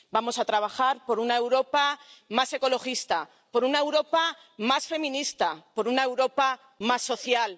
Vamos a trabajar por una Europa más ecologista, por una Europa más feminista, por una Europa más social.